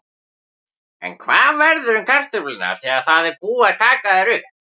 En hvað verður um kartöflurnar þegar það er búið að taka þær upp?